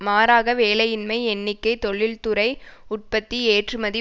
மாறாக வேலையின்மை எண்ணிக்கை தொழில்துறை உற்பத்தி ஏற்றுமதி